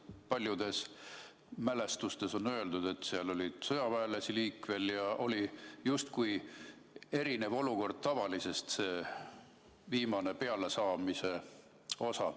Paljudes mälestustes on öeldud, et seal oli sõjaväelasi liikvel ja oli justkui tavalisest erinev olukord, kui oli viimane pealeminek.